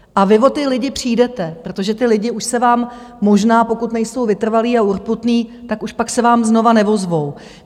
A vy o ty lidi přijdete, protože ti lidé už se vám možná, pokud nejsou vytrvalí a urputní, tak už pak se vám znovu neozvou.